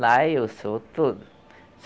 Lá eu sou tudo.